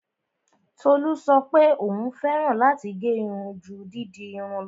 Tolú sọ pé òún fẹ́ràn láti gẹ́ irun ju dídirun lọ.